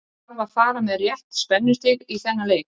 Það þarf að fara með rétt spennustig í þennan leik.